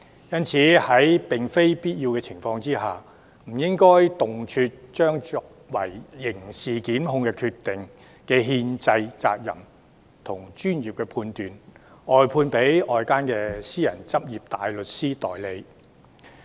因此，在並非必要的情況下，不應動輒將作出刑事檢控決定的憲制責任與專業判斷，外判給外間的私人執業大律師代理。